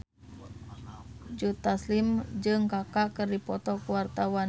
Joe Taslim jeung Kaka keur dipoto ku wartawan